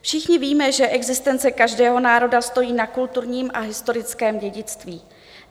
Všichni víme, že existence každého národa stojí na kulturním a historickém dědictví.